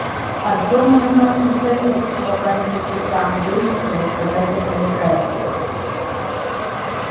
артём уже начал жалеть что попросил петра андреевича рассказать о полежаевской